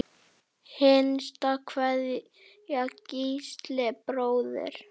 Hinsta kveðja, Gísli bróðir.